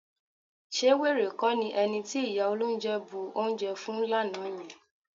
Ṣé wèrè kọ́ ni ẹni tí ìyá olóunjẹ bu oúnjẹ fún lánàá yẹn?